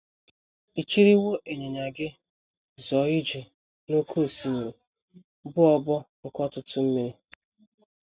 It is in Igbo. Ị chịrịwo ịnyịnya Gị zọọ ije n’oké osimiri, bụ́ obo nke ọtụtụ mmiri. ”